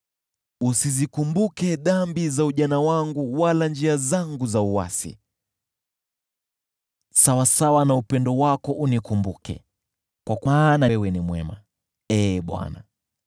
Usizikumbuke dhambi za ujana wangu wala njia zangu za uasi, sawasawa na upendo wako unikumbuke, kwa maana wewe ni mwema, Ee Bwana .